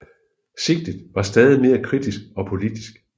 Sigtet var stadig mere kritisk og politisk